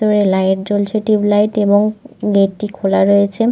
দূরে লাইট জ্বলছে tube light এবং গেট -টি খোলা রয়েছে।